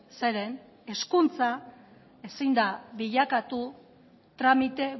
zeren hezkuntza ezin da bilakatu tramite